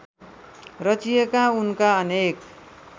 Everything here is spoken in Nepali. रचिएका उनका अनेक